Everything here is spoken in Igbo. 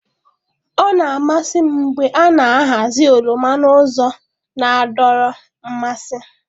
Ọ na-amasị m mgbe a na-ahazi oroma n'ụzọ na-adọrọ mmasị.